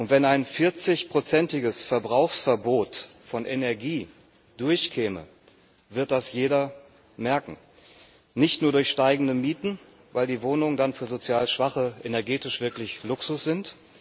Wenn ein 40 prozentiges Verbrauchsverbot von Energie durchkäme, wird das jeder merken nicht nur durch steigende Mieten, weil die Wohnungen für sozial Schwache dann energetisch wirklich Luxus sind.